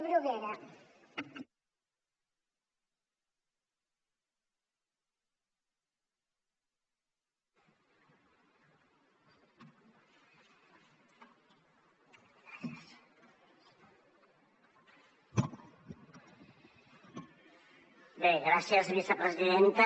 bé gràcies vicepresidenta